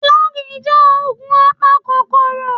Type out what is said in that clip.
Flagy jẹ́ ògùn apakòkòrò